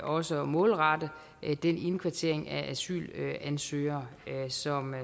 også målrette den indkvartering af asylansøgere som